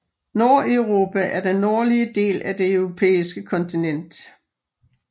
Nordeuropa er den nordlige del af det europæiske kontinent